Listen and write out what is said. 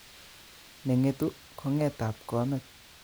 Nenge'tu kongetabkomet